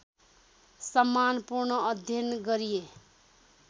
सम्मानपूर्ण अध्ययन गरिए